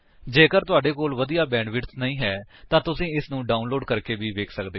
ਜੇਕਰ ਤੁਹਾਡੇ ਕੋਲ ਵਧੀਆ ਬੈਂਡਵਿਡਥ ਨਹੀਂ ਹੈ ਤਾਂ ਤੁਸੀ ਇਸਨੂੰ ਡਾਉਨਲੋਡ ਕਰਕੇ ਵੀ ਵੇਖ ਸਕਦੇ ਹੋ